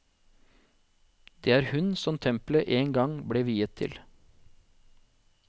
Det er hun som tempelet en gang ble viet til.